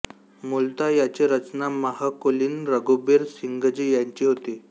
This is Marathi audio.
मूलतः याची रचना महकुलीन रघुबीर सिंघजी यांची होती